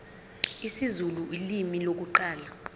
isizulu ulimi lokuqala